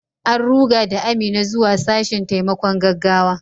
An ruga da Amina zuwa sashen taimakon gaggawa.